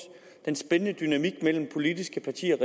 den spændende dynamik mellem politiske partier og